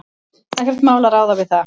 Ekkert mál að ráða við það.